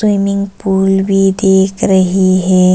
Swimming pool भी दिख रही हैं।